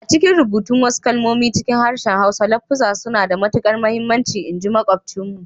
A'cikin rubutun wasu kalmomi cikin harshen Hausa, lafuzzan suna da matukar muhimmanci in ji makwabcinmu.